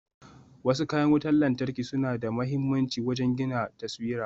Wasu kayan wutan lantarki suna da mahimmanci wajen gina taswira.